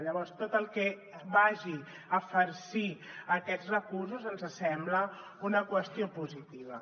llavors tot el que vagi a farcir aquests recursos ens sembla una qüestió positiva